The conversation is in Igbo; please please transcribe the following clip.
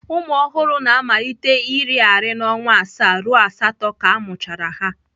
Ụmụ ọhụrụ na-amalite iri arị na ọnwa asaa ruo asatọ ka a mụchara ha.